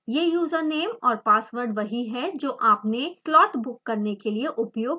यह username और password वही है जो आपने स्लॉट बुक करने के लिए उपयोग किया